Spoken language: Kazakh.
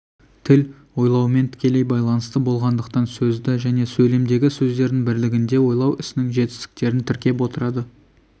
тіл ойлаумен тікелей байланысты болғандықтан сөзді және сөйлемдегі сөздердің бірлігінде ойлау ісінің жетістіктерін тіркеп отырады